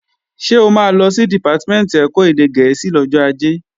Ṣé o máa lọ sí Dìpátímẹ̀ntì ẹ̀kọ́ èdè gẹ̀ẹ́sì lọ́jọ́ Ajé?